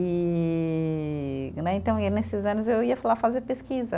E né, então, e nesses anos, eu ia lá fazer pesquisa.